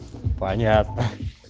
понятно